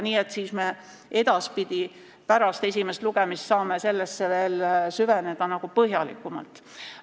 Nii et me saame edaspidi, pärast esimest lugemist, sellesse põhjalikumalt süveneda.